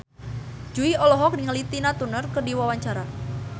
Jui olohok ningali Tina Turner keur diwawancara